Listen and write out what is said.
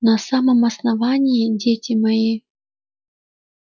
на самом основании дети мои